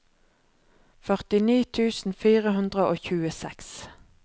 førtini tusen fire hundre og tjueseks